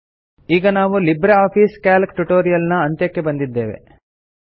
ಈಗ ನಾವು LibreOffice Calc tutorial ನ ಅಂತ್ಯಕ್ಕೆ ಬಂದಿದ್ದೇವೆ